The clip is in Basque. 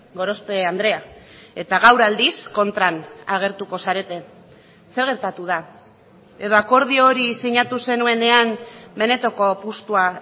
gorospe andrea eta gaur aldiz kontran agertuko zarete zer gertatu da edo akordio hori sinatu zenuenean benetako apustua